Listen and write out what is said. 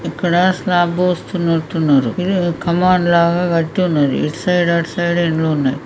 ఇక్కడ శ్లాబ్ పోస్తున్నట్లు ఉన్నారు. కమాన్ లాగా కట్టి ఉన్నారు. ఇటు సైడ్ అటు సైడ్ ఎండ లో ఉన్నాయి.